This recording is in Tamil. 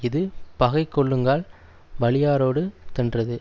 இது பகை கொள்ளுங்கால் வலியாரோடு தென்றது